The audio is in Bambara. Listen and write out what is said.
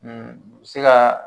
se ka